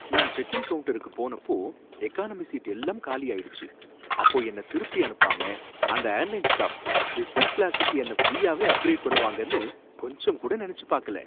நான் check in கவுண்ட்டருக்கு போனப்போ, எகானமி சீட் எல்லாம் காலியாயிடுச்சு, அப்போ என்ன திருப்பி அனுப்பாம அந்த ஏர்லைன்ஸ் ஸ்டாஃப் பிசினஸ் கிளா ஸுக்கு என்ன ப்ரீயாவே அப்கிரேட் பண்ணுவாங்கனு கொஞ்சம் கூட நனச்சு பாக்கல.